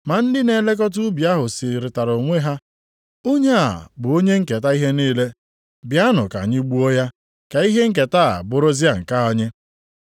“Ma ndị na-elekọta ubi ahụ sịrịtara onwe ha, ‘Onye a bụ onye nketa ihe niile a. Bịanụ ka anyị gbuo ya, ka ihe nketa a bụrụzia nke anyị.’